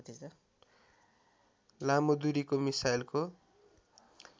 लामो दूरीको मिसाइलको